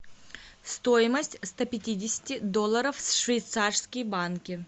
стоимость ста пятидесяти долларов в швейцарские банки